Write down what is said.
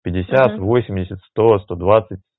пятьдесят угу восемьдесят сто сто двадцать